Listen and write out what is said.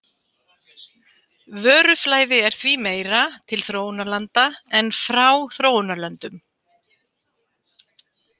Vöruflæði er því meira til þróunarlanda en frá þróunarlöndum.